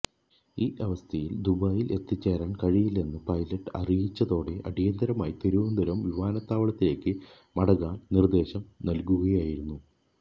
ഈ അവസ്ഥയിൽ ദുബായിൽ എത്തിച്ചേരാൻ കഴിയില്ലെന്ന് പൈലറ്റ് അറിയിച്ചതോടെ അടിയന്തരമായി തിരുവനന്തപുരം വിമാനത്താവളത്തിലേക്ക് മടങ്ങാൻ നിർദ്ദേശം നൽകുകയായിരുന്നു